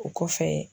O kɔfɛ